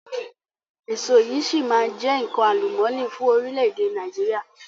Èso yìí si maa jẹ nkan àlùmọ́ọ́nì fún orílẹ̀ èdè Nàìjíríà